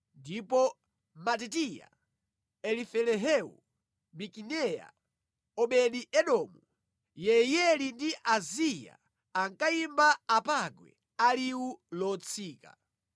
ndipo Matitiya, Elifelehu, Mikineya, Obedi-Edomu, Yeiyeli ndi Azaziya ankayimba apangwe a liwu lotsika.